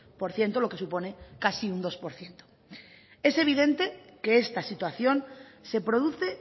por ciento lo que supone casi un dos por ciento es evidente que esta situación se produce